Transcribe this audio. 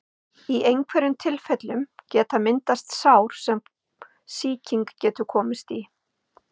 Í einhverjum tilfellum geta myndast sár sem sýking getur komist í.